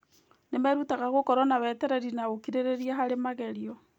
Nĩ merutaga gũkorwo na wetereri na ũkirĩrĩria harĩ magerio.